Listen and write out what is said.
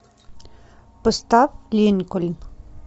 поставь линкольн